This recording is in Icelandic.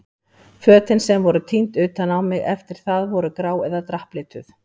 Fötin sem voru tínd utan á mig eftir það voru grá eða drapplituð.